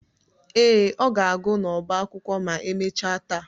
Ee, ọ ga-agụ n'ọba akwụkwọ ma emechaa taa